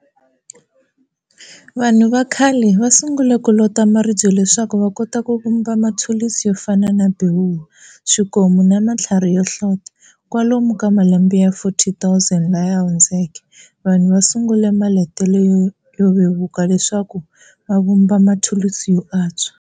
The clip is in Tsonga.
Vanhu vakhale va sungule kulota maribye leswaku vakota kuvumba mathulusi yo fana na bewula, swikomu na mathlarhi yohlota. Kwalomu ka malembe ya 40,000 lamahundzeke, vanhu vasungule malotele yo vevuka leswaku vavumba mathulusi yo antswa.